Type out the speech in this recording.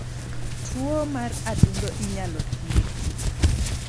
Tuo mar adundo inyalo thiedhi.